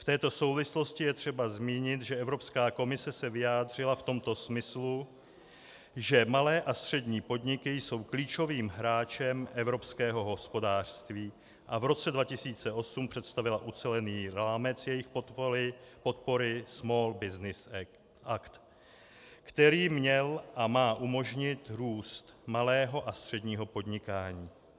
V této souvislosti je třeba zmínit, že Evropská komise se vyjádřila v tomto smyslu, že malé a střední podniky jsou klíčovým hráčem evropského hospodářství, a v roce 2008 představila ucelený rámec jejich podpory, Small Business Act, který měl a má umožnit růst malého a středního podnikání.